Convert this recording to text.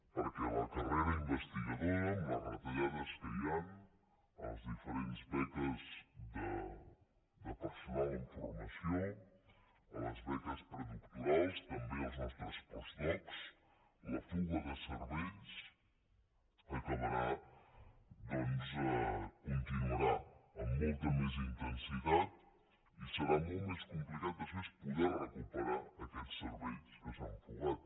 perquè la carrera investigadora amb les retallades que hi han a les diferents beques de personal en formació a les beques predoctorals també als nostres postdocs la fuga de cervells continuarà amb molta més intensitat i serà molt més complicat després poder recuperar aquests cervells que s’han fugat